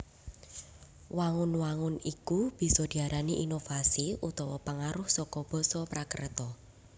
Wangun wangun iku bisa diarani inovasi utawa pangaruh saka basa Prakreta